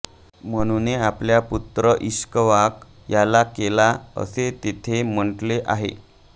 मनुने आपल्या पुत्र ईक्ष्वाक याला केला असे तेथे म्हटले आहे